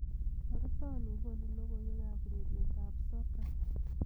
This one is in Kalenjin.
toreton gonun logoywek am ureryet at soka